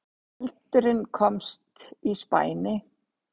Eldurinn komst í spæni